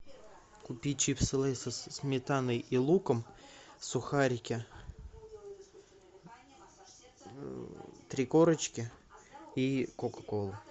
купи чипсы лейс со сметаной и луком сухарики три корочки и кока колу